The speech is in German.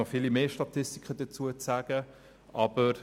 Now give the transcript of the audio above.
Es gäbe noch viele Statistiken zu nennen.